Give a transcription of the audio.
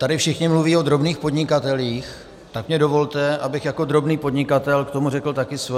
Tady všichni mluví o drobných podnikatelích, tak mi dovolte, abych jako drobný podnikatel k tomu řekl taky svoje.